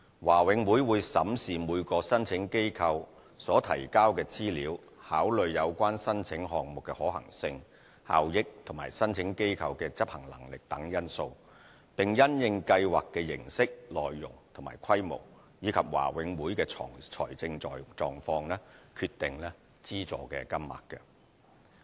華永會會審視每個申請機構所提交的資料，考慮有關申請項目的可行性、效益及申請機構的執行能力等因素，並因應計劃的形式、內容和規模，以及華永會的財政狀況，決定資助金額。